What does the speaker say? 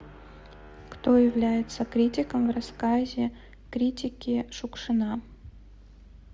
кто является критиком в рассказе критики шукшина